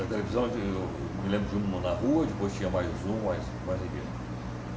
A televisão, eu eu me lembro de uma na rua, depois tinha mais uma, mais mais ninguém.